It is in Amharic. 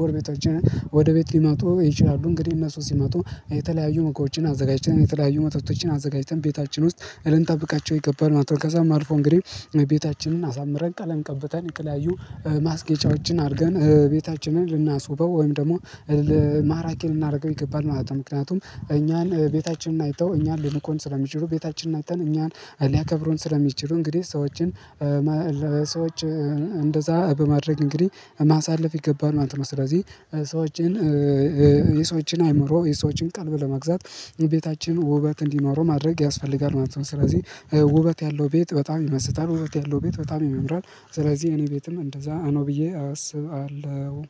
ጎርቤቶቻችን ወደ ቤት ልመጡ ይችላሉ እንግዲህ እነሱ ስመጡ የተለያዩ ምግቦችን አዘጋጅተን የተለያዩ መጠጦችን አዘጋጅተን ቤታችን ውስጥ ልንጠብቃቸው ይገባል ማለት ነው ከዛም አልፎ እንግዲህ ቤታችንን አሳምረን ቀለም ቀብተን ለተለያዩ ማስገጫዎችን አርገን ቤታችንን ልናስውበው ወይም ደግሞ ማራኪን ልናደርገው ይገባል ማለት ነው ምክንያቱም እኛን ቤታችንን አይተው እኛን ልንቁን ስለሚችሉ ቤታችን አይተው እኛን ልያከብሩን ስለሚችሉ እንግዲህ ሰዎችን ለሰዎች እንደዛ በማድረግ እንግዲህ ማሳለፍ ይገባናል ማለት ነው ስለዚህ ሰዎችን የሰዎችን አይምሮ የሰዎችን ቀልብ ለማግዛት የቤታችን ውበት እንዲኖረው ማድረግ ያስፈልጋል ማለት ነው ስለዚህ ውበት ያለው ቤት በጣም ይመስጣል ውበት ያለው ቤት በጣም ያምራል ስለዚህ እኔ ቤትም እንደዛ ነው ብዬ አስባለሁ